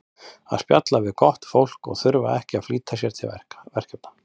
að spjalla við gott fólk og þurfa ekki að flýta sér til verkefna